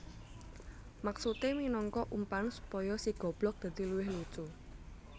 Maksudé minangka umpan supaya si goblog dadi luwih lucu